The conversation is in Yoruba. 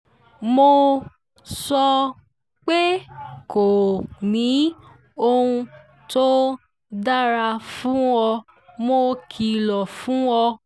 mo sọ pé kò ní ohun tó dára fún ọ mo kìlọ̀ fún ọ